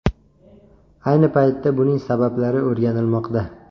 Ayni paytda buning sabablari o‘rganilmoqda.